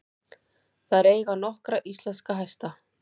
Þær eiga nokkra íslenska hesta.